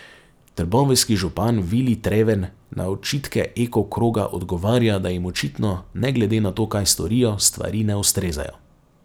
Trboveljski župan Vili Treven na očitke Eko kroga odgovarja, da jim očitno ne glede na to, kaj storijo, stvari ne ustrezajo.